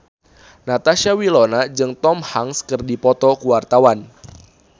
Natasha Wilona jeung Tom Hanks keur dipoto ku wartawan